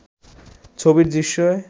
ছবির দৃশ্যে